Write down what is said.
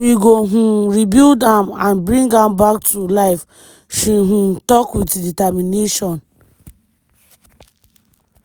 “we go um rebuild am and bring am back to life” she um tok wit determination.